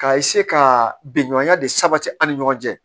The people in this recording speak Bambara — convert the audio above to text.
Ka ka bɛn ɲɔgɔnya de sabati an ni ɲɔgɔn cɛ